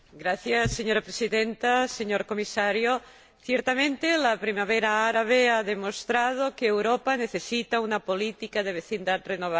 Señora Presidenta, señor Comisario, ciertamente la Primavera árabe ha demostrado que Europa necesita una política de vecindad renovada.